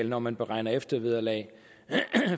når man beregner eftervederlag